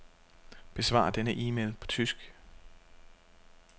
Besvar denne e-mail på tysk.